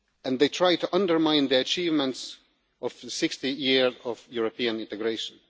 They try to undermine the achievements of over 60 years of European integration.